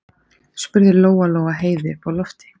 spurði Lóa-Lóa Heiðu uppi á lofti.